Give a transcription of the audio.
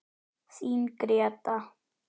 Þín Gréta.